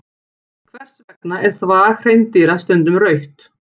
Hvers vegna er þvag hreindýra stundum rautt?